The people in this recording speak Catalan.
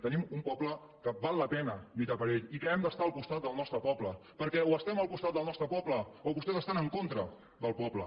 tenim un poble que val la pena lluitar per ell i que hem d’estar al costat del nostre poble perquè o estem al costat del nostre poble o vostès estan en contra del poble